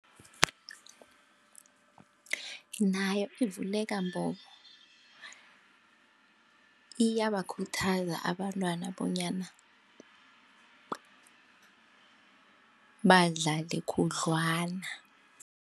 Nayo ivuleka mbobo iyabakhuthaza abantwana bonyana badlale khudlwana.